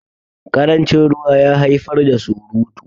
karancin ruwa ya haifar da surutu